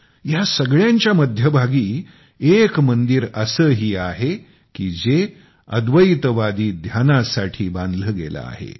या सगळ्यांच्या मध्यभागी एक मंदिर असेही आहे की जे अद्वैतवादी ध्यानासाठी बनवले गेले आहे